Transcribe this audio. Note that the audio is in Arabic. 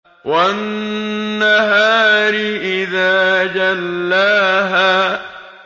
وَالنَّهَارِ إِذَا جَلَّاهَا